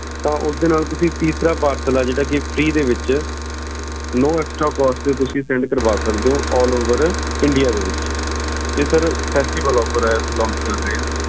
ਤਾ ਉਸ ਦੇ ਨਾਲ ਤੁਸੀਂ teesra parcel ਆਏ ਜਿਹੜਾ ਕਿ freenoextracost ਦੇ ਵਿਚ ਤੇ ਤੁਸੀਂ send ਕਰਵਾ ਸਕਦੇ ਊ alloverindia ਇਹ ਏ